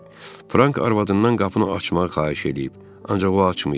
Frank arvadından qapını açmağı xahiş eləyib, ancaq o açmayıb.